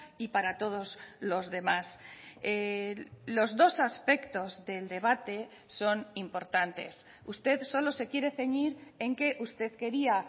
y para todos los demás los dos aspectos del debate son importantes usted solo se quiere ceñir en que usted quería